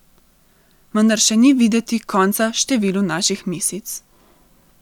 Vendar še ni videti konca številu naših misic.